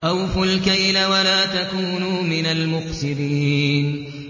۞ أَوْفُوا الْكَيْلَ وَلَا تَكُونُوا مِنَ الْمُخْسِرِينَ